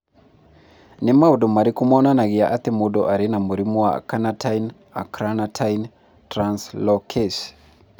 Nĩ maũndũ marĩkũ monanagia atĩ mũndũ arĩ na mũrimũ wa Carnitine acylcarnitine translocase?